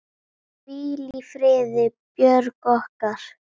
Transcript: Hvíl í friði, Björg okkar.